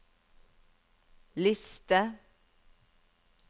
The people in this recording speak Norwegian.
liste